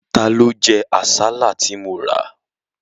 Ta ló jẹ àsálà tí mo rà?